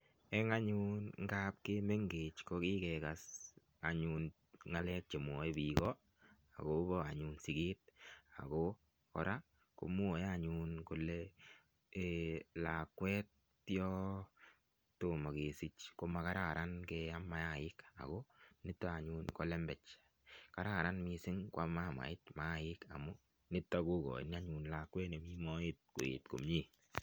Eng anyun ngaab ko kimengech ko kigekas anyun ngalek che mwoe biik agobo siget. Kora komwoe anyun kole lakwet yotomo kesich koma kararan keam maaik ago nito anyun ko lembech. Kararan mising kwam mamait maaik nito anyun kokoin lakwet nemi moet koet komie.